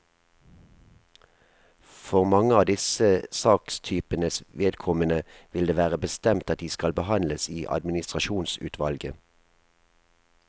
For mange av disse sakstypenes vedkommende vil det være bestemt at de skal behandles i administrasjonsutvalget.